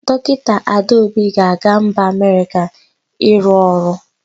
Dọkịta Adaobi ga-aga mba Amerịka ịrụ ọrụ.